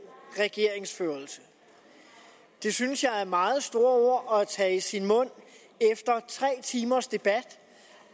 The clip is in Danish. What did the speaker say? regeringsførelse det synes jeg er meget store ord at tage i sin mund efter tre timers debat